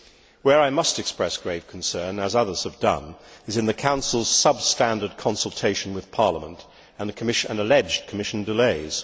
Where I must express grave concern, as others have done, is in the Council's substandard consultation with Parliament, and alleged Commission delays.